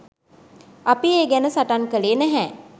අපි ඒ ගැන සටන් කළේ නැහැ.